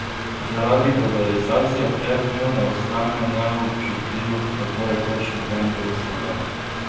Zaradi globalizacije pred njo ne ostane neobčutljiv tako rekoč noben del sveta.